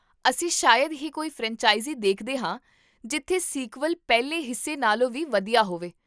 ਅਸੀਂ ਸ਼ਾਇਦ ਹੀ ਕੋਈ ਫਰੈਂਚਾਇਜ਼ੀ ਦੇਖਦੇ ਹਾਂ ਜਿੱਥੇ ਸੀਕਵਲ ਪਹਿਲੇ ਹਿੱਸੇ ਨਾਲੋਂ ਵੀ ਵਧੀਆ ਹੋਵੇ